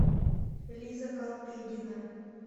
лиза калтыгина